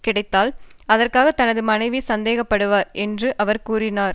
கிடைத்தால் அதற்காக தனது மனைவி சந்தோசப்படுவார் என்றும் அவர் கூறினார்